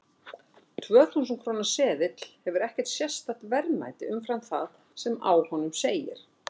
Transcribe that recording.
Tvö þúsund króna seðill hefur ekkert sérstakt verðmæti umfram það sem á honum segir.